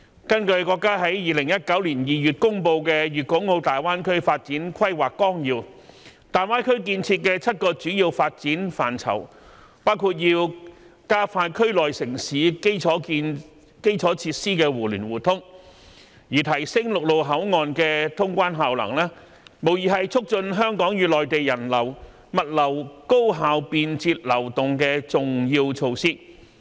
根據國家在2019年2月公布的《粵港澳大灣區發展規劃綱要》，大灣區建設的7個主要發展範疇，包括要加快區內城市基礎設施的互聯互通，而提升陸路口岸的通關效能，無疑是促進香港與內地人流、物流高效便捷流動的重要措施。